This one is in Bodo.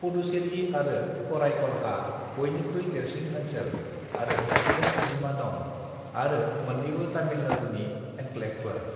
पुदुचेरि आरो काराईकलहा बयनिख्रुइ देरसिन ओनसोल आरो सुबुं अनजिमा दं आरो मोन्नैबो तमिलनाडुनि एनक्लेभफोर।